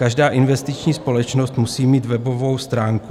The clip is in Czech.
Každá investiční společnost musí mít webovou stránku.